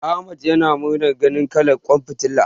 Ahmad yana murna ganin kalar ƙwan fitilar.